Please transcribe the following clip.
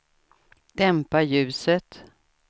dämpa ljuset